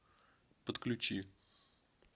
подключи